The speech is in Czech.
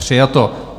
Přijato.